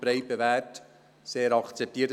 er ist bewährt und breit akzeptiert.